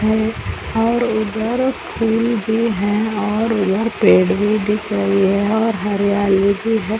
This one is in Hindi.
है और उधर फूल भी है और उधर पेड़ भी दिख रही है और हरियाली भी है ।